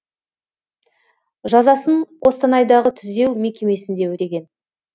жазасын қостанайдағы түзеу мекемесінде өтеген